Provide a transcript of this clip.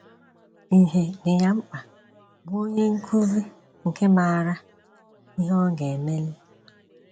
Íhè dị ya mkpa bụ́ onye nkúzí nke maara ihe ọ gà- eméli.’ ”